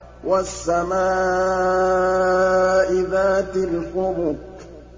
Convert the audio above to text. وَالسَّمَاءِ ذَاتِ الْحُبُكِ